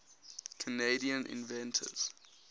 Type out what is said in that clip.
canadian inventors